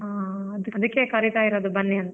ಹಾ ಅದಿಕ್ಕೆ ಕರಿತಾ ಇರೋದು ಬನ್ನಿ ಅಂತ .